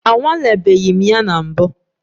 Anwalebeghị m ya na mbụ.